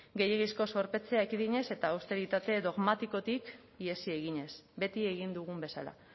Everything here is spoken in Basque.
gehiegizko zorpetzea ekidinez eta austeritate dogmatikotik ihesi eginez beti egin dugun bezala